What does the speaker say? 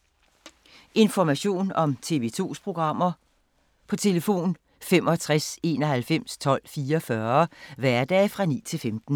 Information om TV 2's programmer: 65 91 12 44, hverdage 9-15.